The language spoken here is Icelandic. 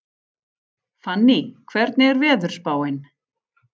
Fanný, hvernig er veðurspáin?